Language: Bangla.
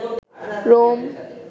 রোম